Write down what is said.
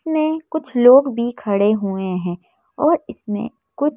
इसमें कुछ लोग भी खड़े हुए हैं और इसमें कुछ--